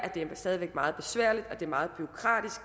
meget besværligt og meget bureaukratisk